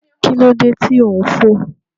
Kí ló dé tí ò ń fò?